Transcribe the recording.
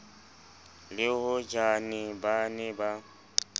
le hojane ba ne ba